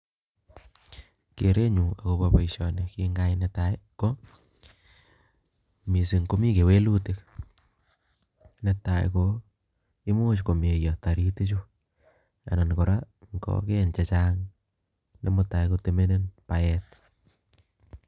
Kerenyu nepo boisioni nekigayai nepotai ko: mising' komii kewelutik, netai ko i'much komeyo taritik chu anan koraa kogeny chechang' nematai kotemenen kogeny.